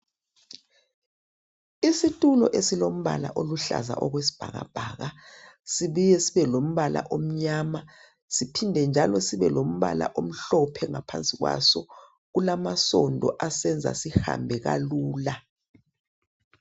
Isitulo esilombala oluhlaza okwesibhakabhaka sibuye sibe lombala omnyama siphinde njalo sibe lombala omhlophe ngaphansi kwaso kulamasondo asenza sihambe kalula.